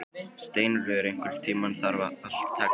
Steinröður, einhvern tímann þarf allt að taka enda.